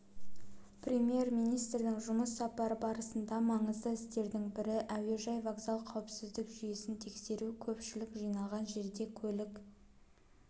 премьер-министрдің жұмыс сапары барысында маңызды істердің бірі әуежай вокзал қауіпсіздік жүйесін тексеру көпшілік жиналған жерде көлік